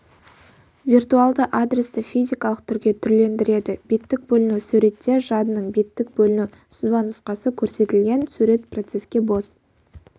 виртуалды адресті физикалық түрге түрлендіреді беттік бөліну суретте жадының беттік бөліну сызбанұсқасы көрсетілген сурет процеске бос